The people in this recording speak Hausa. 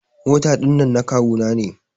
Mota dinnan na kawu na ne.